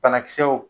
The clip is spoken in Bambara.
Banakisɛw